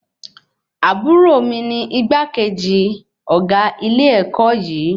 Àbúrò mí ní igbákejì ọgá ilé-èkó yìí